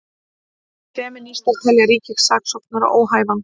Femínistar telja ríkissaksóknara óhæfan